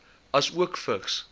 asook vigs